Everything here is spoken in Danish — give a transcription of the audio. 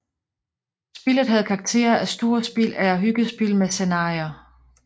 Spillet havde karakter af storspil eller hyggespil med scenarier